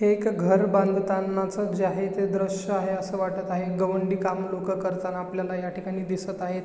एक घर बांधतानाच जे आहे ते दृश आहे अस वाटत आहे गवंडी काम लोक करताना आपल्याला ह्या ठिकाणी दिसत आहेत.